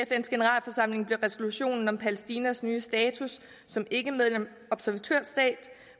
generalforsamling blev resolutionen om palæstinas nye status som ikkemedlemsobservatørstat